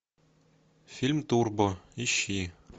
фильм турбо ищи